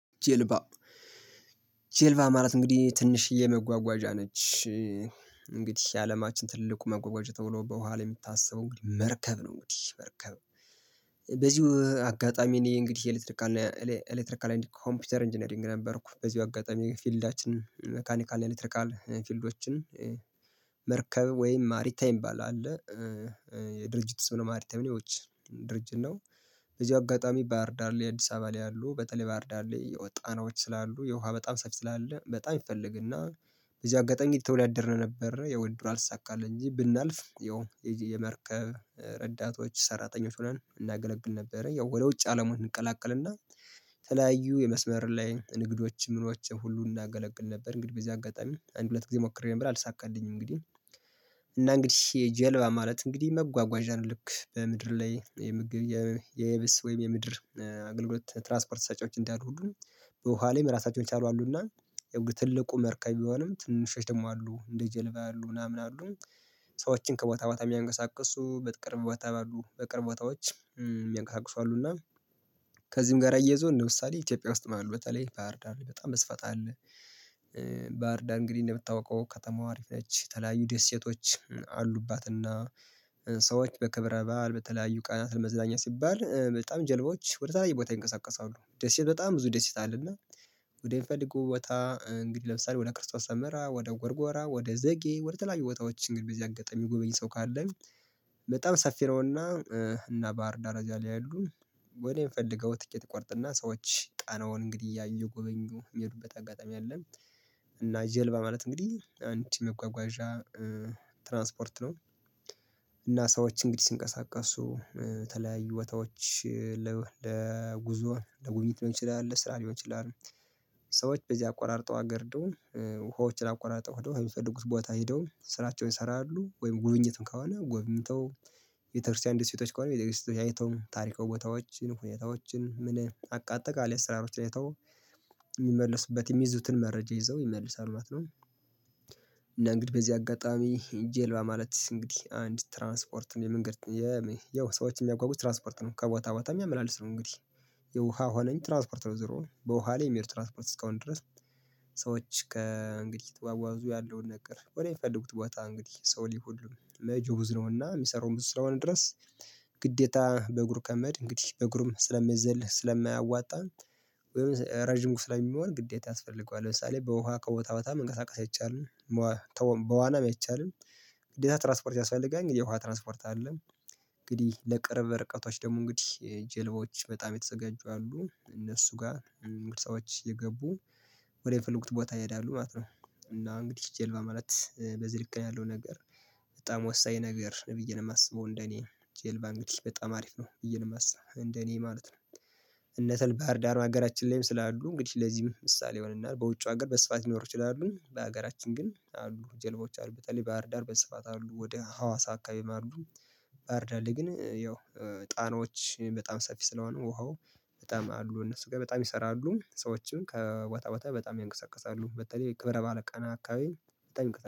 ጀልባ ጀልባ ማለት እንግዲህ ትንሽዬ መጓጓዣ ነች። እንግዲህ የአለማችን ትልቁ መጎጓጆ ተብሎ በኋላ የምታስበው እንግዲህ መርከብ ነው እንግዲህ። መርከብ በዚሁ አጋጣሚ እኔ እንግዲህ የኤሌክትሪካል ኤሌክትሪካል ኮምፒውተር ኢንጂነሪንግ ነበርኩ በዚው አጋጣሚ ፊልዳችን ሜካኒካል ኤሌክትሪካል ፊልዶችን መርከብ ወይም ማሪታይም ምባል አለ የድርጅት ስም ነው ማርቲኒዎች ድርጅት ነው። በዚ አጋጣሚ ባህር ዳር ላይ አዲስ አባ ላይ ያሉ በተለይ ባህር ዳር ላይ ጣናዎች ስላሉ የውሃ በጣም ሰፊ ስላለ በጣም ይፈልግና በዚህ አጋጣሚ አየተወዳደርን ነበር ወድድሩ አልተሳካልኝ እንጂ ብናልፍ ያው የመርከብ ረዳቶች ሰራተኞች ሆነን እናገለግል ነበረ ያው ወደ ውጭ አለማው እንቀላቀልና ተለያዩ የመስመር ላይ ንግዶች ምኖች ሁሉ እናገለግል ነበር እንግዲህ በዚህ አጋጣሚ አንድ ሁለት ጊዜ ሞክሬ ነበር አልሳካልኝም እንግዲህ እና እንግዲህ የጀልባ ማለት እንግዲህ መጓጓዣን ልክ በምድር ላይ የምግብ የየብስ ወይም የምድር አገልግሎት ትራስፖርት ሰጪዎች እንዳሉ ሁሉንም በዉሃ ላይ አራሳቸውን የቻሉ አሉና የትልቁ መርከብ ቢሆንም ትንሾች ደግሞ አሉ እንደ ጀልባ ያሉ ምናምን አሉ። ሰዎችን ከቦታ ቦታ የሚያንቀሳቅሱ በቅርብ ቦታ ባሉ በቅርብ ቦታዎች ሚያንቀሳቅሱ አሉና ከዚህም ጋር አያይዘው ለምሳሌ ኢትዮጵያ ውስጥ ማለት ነው በተለይ ባህርዳር በጣም በስፋት አለ ባህርዳር እንግዲህ አንደ ምታውቀው ከተማዋ አሪፍ ላይ የተለያዩ ደሴቶች አሉባት እና ሰዎች በክብረ ባል በተለያዩ ቃላት ለመዝዳኛ ሲባል በጣም ጀልባዎች ወደ ተለያዩ ቦታ ይንቀሳቀሳሉ ደስ ይል በጣም ብዙ ደስ ይታልና ወደ ምፈልገው ቦታ እንግዲህ ለምሳሌ ወደ ክርስቶስ ሰምራ ወደ ጎርጎራ ወደ ዘጌ ወደ ተለያዩ ቦታዎች እንግዲህ በዚህ አጋጣሚ ሚጎበኝ ሰው ካለ በጣም ሰፊ ነውና እና ባህር ዳር ዛ ላይ ያሉ ወደ የምፈልገው ትኬት አቆርጥና ሰዎች ጣናውን እንግዲህ እያዩ አየጎበኙ የሚሄዱበት አጋጣሚ አለ። እና ጀልባ ማለት እንግዲህ ነው እና አንድ መጓጓዣ ትራንስፖርት ነው እና ሰዎች እንግዲህ ሲንቀሳቀሱ ተለያዩ ቦታዎች ለጉዞ ለጉብኝት ልሆን ይችላል ለስራ ሊሆን ይችላል ሰዎች በዚህ አቅራርጦ ሀገር ደውም ውሃዎችን አቆራርጦ ሆደው የሚፈልጉት ቦታ ሄደው ስራቸውን ይሰራሉ ወይም ጉብኝት ከሆነ ጎብኝተው ቤተክርስቲያን ደሴቶች ከሆነ ቤተክርስቲያን አይተው ታሪካዊ ቦታዎችን ሁኔታዎችን ምን አቃ አጠቃላይ አስራዎች አይተው ይመልሱበት የሚይዙትን መረጃ ይዘው ይመልሳሉ ማለት ነው። እና እንግዲህ በዚህ አጋጣሚ ጀልባ ማለት እንግዲህ አንድ ትራንስፖርት የመንገድ ያው ሰዎች የሚያጓጉዝ ትራንስፖርት ነው ከቦታ ቦታ የሚያመላልስ ነው እንግዲህ የውሃ ሆነኝ ትራንስፖርት ነው ዜሮ በውሃ ላይ የሚሄድ ትራንስፖርት እስከሆነ ድረስ ሰዎች ከእንግዲህ ተጓጓዙ ያለውን ነገር ወደሚፈለጉት ቦታ እንግዲህ ሰው ሊሆን ጁሁዝ ነውና የሚሰራውም ብዙ ስለሆነ ድረስ ግዴታ በእግሩ ከሜድ እንግዲህ በእግሩም ስለሚዘል ስለማያዋጣ ወይም ረጅም ውስጥ ስለሚሆን ግዴታ ያስፈልጓል ለምሳሌ በውሃ ከቦታ በታ መንቀሳቀስ አይቻልም በዋናም አይቻልም። ግዴታ ትራንስፖርት ያስፈልጋል እንግዲህ ውሃ ትራንስፖርት አይደለም እንግዲህ ለቅርብ ርቀቶች ደግሞ እንግዲህ ጀልባዎች በጣም የተዘጋጁ አሉ እነሱ ጋር ሰዎች እየገቡ ወደ የፈለጉት ቦታ ይሄዳሉ ማለት ነው እና እንግዲህ ጀልባ ማለት በዚህ ልክ ያለው ነገር በጣም ወሳኝ ነገር ብዬ ነው የማስበው እንደኔ ጄልባ እንግዲህ በጣም አሪፍ ነው ብዬ ነው የማስበው እንደኔ ማለት ነው። እናትል ባህር ዳር በሀገራችን ላይም ስላሉ እንግዲህ ለዚህም ምሳሌ ይሆንናል በውጩ ሀገር በስፋት ሊኖር ይችላሉ በሀገራችን ግን አሉ ጀልባዎች አሉ በተለይ ባህርዳር በስፋት አሉ። ወደ ሀዋሳ አካባቢም አሉ ባህርዳር ላይ ግን ያው ጣናዎች በጣም ሰፊ ስለሆኑ ውሃው በጣም አሉ እነሱ ጋር በጣም ይሰራሉ ሰዎችን ከቦታ ቦታ በጣም ያንቀሳቅሳሉ በተለይ ክብረ ባዓል ቀና አካባቢ